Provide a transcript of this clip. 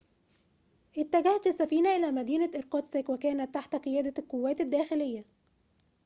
اتجهت السفينة إلى مدينة إيركوتسك وكانت تحت قيادة القوات الداخلية